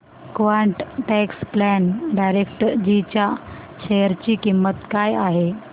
quant tax plan डायरेक्टजी च्या share ची किंमत काय आहे